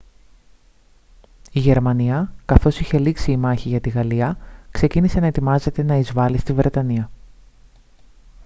η γερμανία καθώς είχε λήξει η μάχη για τη γαλλία ξεκίνησε να ετοιμάζεται να εισβάλει στη βρετανία